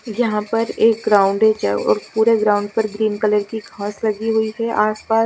जहां पर एक ग्राउंडेच है और पूरे ग्राउंड पर ग्रीन कलर की घास लगी हुई है आस पास।